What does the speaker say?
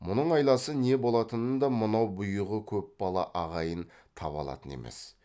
мұның айласы не болатынын да мынау бұйығы көп бала ағайын таба алатын емес